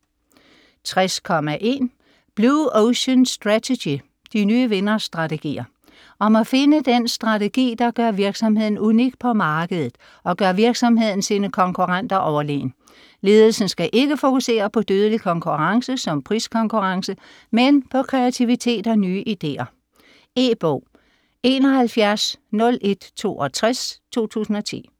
60.1 Blue ocean strategy: de nye vinderstrategier Om at finde den strategi, der gør virksomheden unik på markedet, og gør virksomheden sine konkurrenter overlegen. Ledelsen skal ikke fokusere på dødelig konkurrence, som priskonkurrence, men på kreativitet og nye ideer. E-bog 710162 2010.